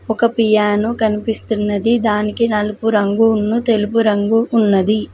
ఒక పియానో కనిపిస్తున్నది దానికి నలుపు రంగు ఉన్ను తెలుపు రంగు ఉన్నది.